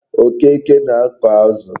Okeke na-ako azu